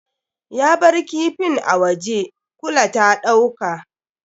Ya bar kifin a waje, kula ta ɗauka.